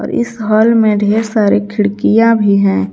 इस हाल में ढेर सारी खिड़कियां भी हैं।